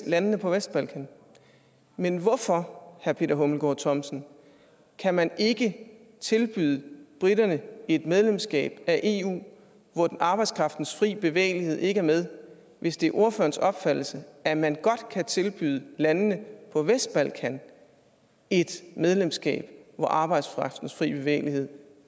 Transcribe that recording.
landene på vestbalkan men hvorfor herre peter hummelgaard thomsen kan man ikke tilbyde briterne et medlemskab af eu hvor arbejdskraftens frie bevægelighed ikke er med hvis det er ordførerens opfattelse at man godt kan tilbyde landene på vestbalkan et medlemskab hvor arbejdskraftens frie bevægelighed